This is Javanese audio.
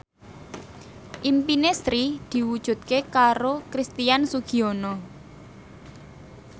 impine Sri diwujudke karo Christian Sugiono